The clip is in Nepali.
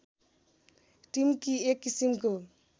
टिम्की एक किसिमको